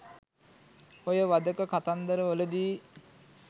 ඔය වධක කතන්දර වලදි